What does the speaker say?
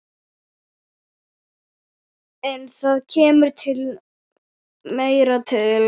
En það kemur meira til.